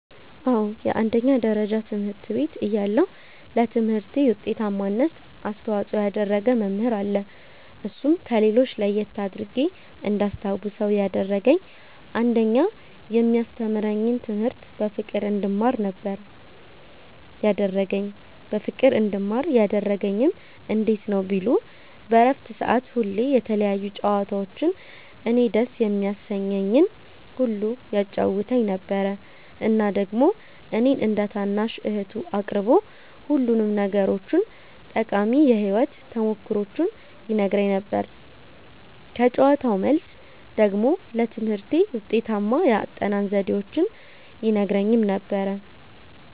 አዎ አንደኛ ደረጃ ትምህርት ቤት እያለሁ ለትምህርቴ ዉጤታማነት አስተዋፅኦ ያደረገ መምህር አለ እርሱም ከሌሎች ለየት አድርጌ እንዳስታዉሰዉ ያደረገኝ አንደኛ የሚያስተምረኝን ትምህርት በፍቅር እንድማር ነበረ ያደረገኝ በፍቅር እንድማር ያደረገኝም እንዴት ነዉ ቢሉ በረፍት ሰዓት ሁሌ የተለያዩ ጨዋታዎችን እኔን ደስ የሚያሰኘኝን ሁሉ ያጫዉተኝ ነበረ እና ደግሞ እኔን እንደ ታናሽ እህቱ አቅርቦ ሁሉንም ነገሮቹን ጠቃሚ የህይወት ተሞክሮዎቹን ይነግረኝ ነበረ ከጨዋታዉ መልስ ደግሞ ለትምህርቴ ውጤታማ የአጠናን ዘዴዎችን ይነግረኝም ነበረ።